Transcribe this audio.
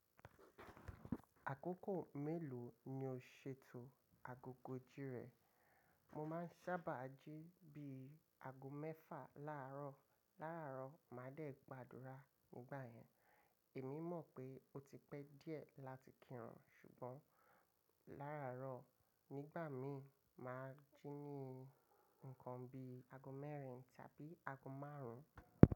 Àkókò mélòó ni o ṣètò agogo jí rẹ? Mo máa ń sábà jí bí i ago mẹ́fà láàárọ̀ láàárọ̀. Màá dẹ́ gbàdúrà nígbà yẹn. Èmi mọ̀ pé ó ti pẹ́ díẹ̀ láti kírun ṣùgbọ́n láàárọ̀ nígbà mí, màá jí ní ǹkan bí i ago mẹ́rin tàbí ago márùn ún.